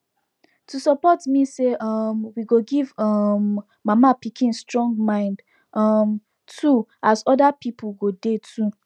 to support mean say um we go give um mama pikin strong mind um too as other people go dey too